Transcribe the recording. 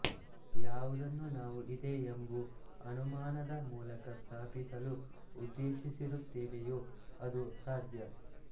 ಯಾವುದನ್ನು ನಾವು ಇದೆ ಎಂಬು ಅನುಮಾನದ ಮೂಲಕ ಸ್ಥಾಪಿಸಲು ಉದ್ದೇಶಿಸಿರುತ್ತೇವೆಯೊ ಅದು ಸಾಧ್ಯ